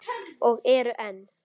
Og eru enn.